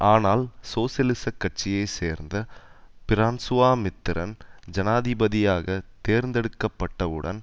ஆனால் சோசியலிச கட்சியை சேர்ந்த பிரான்ஸுவாமித்திரன் ஜனாதிபதியாக தேர்ந்தெடுக்கப்பட்டவுடன்